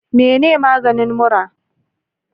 Mene maganin mura?